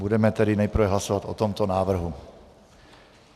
Budeme tedy nejprve hlasovat o tomto návrhu.